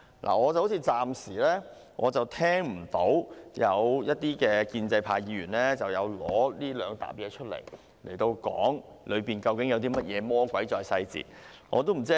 我暫時沒聽到有建制派議員就這兩疊文件發言，討論究竟有甚麼魔鬼在細節當中。